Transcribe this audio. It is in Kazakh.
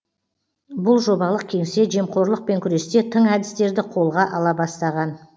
бұл жобалық кеңсе жемқорлықпен күресте тың әдістерді қолға ала бастаған